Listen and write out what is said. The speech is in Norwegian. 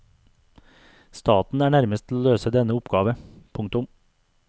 Staten er nærmest til å løse denne oppgave. punktum